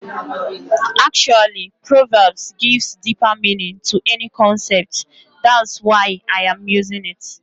Actually, Proverbs gives deeper meaning to any concept, that's why I am using it.